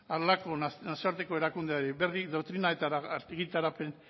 nazioarteko erakundearen berri doktrina eta argitarapen